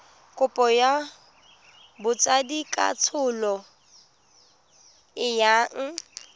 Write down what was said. kopo ya botsadikatsholo e yang